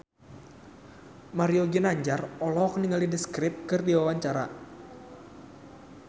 Mario Ginanjar olohok ningali The Script keur diwawancara